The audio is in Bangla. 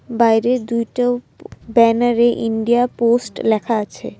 বাইরে দুইটো ব্যানারে ইন্ডিয়া পোস্ট লেখা আছে ।